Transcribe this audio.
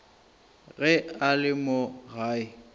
ge a le mo gae